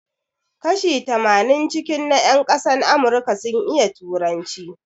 Kashi tamanin cikin na yan ƙasan Amurika sun iya turanci